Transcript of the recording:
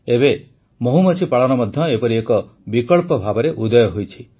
ଏବେ ମହୁମାଛି ପାଳନ ମଧ୍ୟ ଏପରି ଏକ ବିକଳ୍ପ ଭାବେ ଉଦୟ ହୋଇଛି